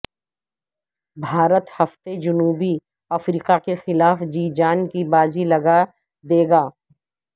بھارت ہفتے جنوبی افریقہ کے خلاف جی جان کی بازی لگا دے گا